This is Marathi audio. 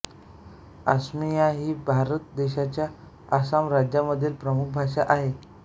असमीया ही भारत देशाच्या आसाम राज्यामधील प्रमुख भाषा आहे